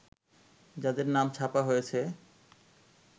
যাঁদের নাম ছাপা হয়েছে